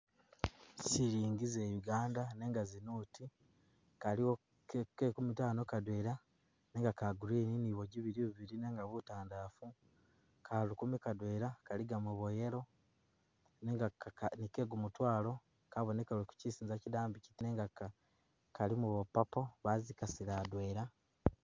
Silingi za uganda nenga zinoti kaliwo ke nkumi’tano kadwela nenga ka green ni bwa’jibili bubili nenga butandafu , ka lukumi kadwela,, kali gagamo bwa yellow ni ke’gumutwalo kabonekeleko kyosinza kyidambi kyiti nenga kalimo bwa purple bazikasile adwela.